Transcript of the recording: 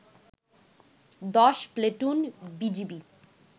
১০ platoon BGB